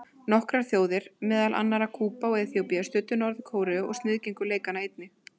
Nokkrar þjóðir, meðal annarra Kúba og Eþíópía, studdu Norður-Kóreu og sniðgengu leikana einnig.